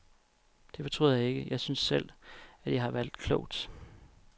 Det fortryder jeg ikke, jeg synes selv, at jeg har valgt klogt.